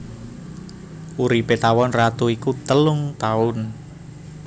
Uripé tawon ratu iku telung taun